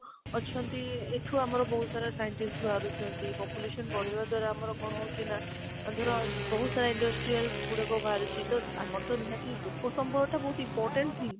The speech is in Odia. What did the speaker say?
ଅଛନ୍ତି, ଏଠୁ ଆମର ବହୁତ ସାରା scientist ବାହାରୁଛନ୍ତି population ବଢିବା ଦ୍ୱାରା ଆମର କଣ ହଉଛି ନା ଅଂ ଧର ବହୁତ ସାରା industrial ଗୁଡାକ ବାହାରିଛି ତ ଆମର ତ ନିହାତି ଲୋକ ସମ୍ବଳଟା ବହୁତ important ହିଁ